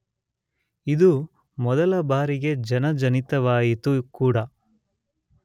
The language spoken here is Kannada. ಇದು ಮೊದಲ ಬಾರಿಗೆ ಜನಜನಿತವಾಯಿತು ಕೂಡ.